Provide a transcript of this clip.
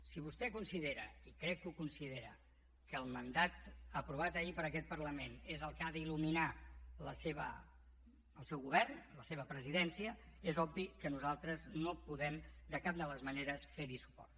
si vostè considera i crec que ho considera que el mandat aprovat ahir per aquest parlament és el que ha d’il·luminar el seu govern la seva presidència és obvi que nosaltres no podem de cap de les maneres ferhi suport